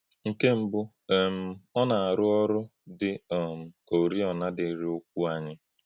Nkè̄ mbụ̀, um ọ́ nā-àrụ́ ọ̀rụ́ dị̄ um kà ọ̀rìọ̀nā̄ dị̄írí̄ ụ̀kwụ́ ānyị̄.